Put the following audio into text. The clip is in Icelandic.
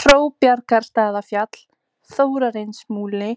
Hróbjargastaðafjall, Þórarinsmúli,